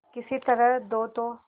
किसी तरह दो तो